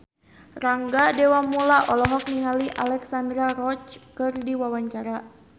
Rangga Dewamoela olohok ningali Alexandra Roach keur diwawancara